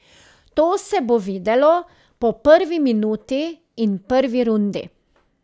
To se bo videlo po prvi minuti in prvi rundi.